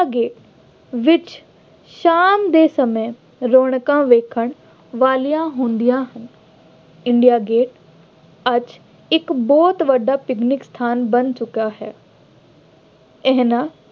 Gate ਵਿੱਚ ਸ਼ਾਮ ਦੇ ਸਮੇਂ ਰੌਣਕਾਂ ਵੇਖਣ ਵਾਲੀਆਂ ਹੁੰਦੀਆਂ ਹਨ। ਇੰਡੀਆ ਗੇਟ ਅੱਜ ਇੱਕ ਬਹੁਤ ਵੱਡਾ ਪਿਕਨਿਕ ਸਥਾਨ ਬਣ ਚੁੱਕਾ ਹੈ। ਇਹਨਾ